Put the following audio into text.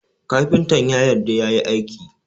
Kafintan ya yarda yayi aikin